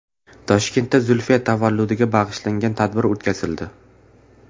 Toshkentda Zulfiya tavalludiga bag‘ishlangan tadbir o‘tkazildi.